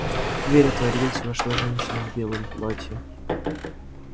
дверь отворилась вошла женщина в белом платье